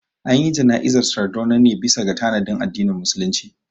Anyi jana'izar Sardauna ne bisa ga tanadin addinin musulunci